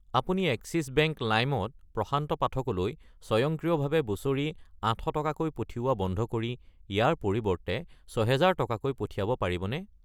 আপুনি Axis bank লাইম ত প্ৰশান্ত পাঠক লৈ স্বয়ংক্ৰিয়ভাৱে বছৰি 800 টকাকৈ পঠিওৱা বন্ধ কৰি ইয়াৰ পৰিৱৰ্তে 6000 টকাকৈ পঠিয়াব পাৰিবনে?